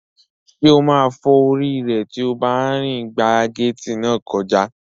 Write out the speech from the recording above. Ṣé ó máa fọ́ orí rẹ̀ tí ó bá rìn gba gééti náà kọjá?